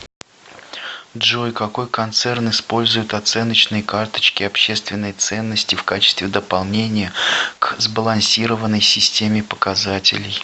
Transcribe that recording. джой какой концерн использует оценочные карточки общественной ценности в качестве дополнения к сбалансированной системе показателей